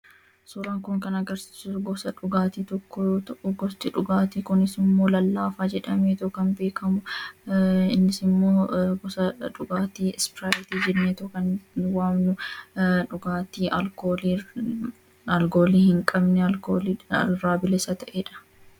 Suuraan kun kan agarsiisu suuraa gosa dhugaatii tokkoo yoo ta'u, gosti dhugaatii kunis immoo lallaafaa jedhameetu kan beekamudha. Innis immoo gosa dhugaatii "Ispraayitii" jenneetu kan waamnudha. Dhugaatiin kunis dhugaatii alkoolii irraa bilisa ta'edha.